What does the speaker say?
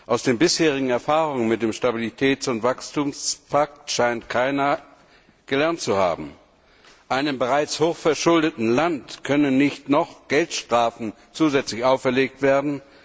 Aus den bisherigen Erfahrungen mit dem Stabilitäts und Wachstumspakt scheint keiner gelernt zu haben. Einem bereits hochverschuldeten Land können nicht noch Geldstrafen zusätzlich auferlegt werden.